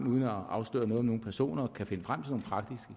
uden at afsløre noget om nogen personer kan finde frem